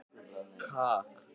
Það var gaman að sjá þig.